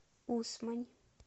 усмань